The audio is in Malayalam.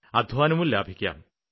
അദ്ധ്വാനവും ലാഭിക്കാം